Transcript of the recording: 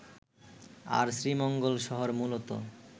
আর শ্রীমঙ্গল শহর মূলত